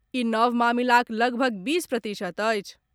ई नव मामिलाक लगभग बीस प्रतिशत अछि।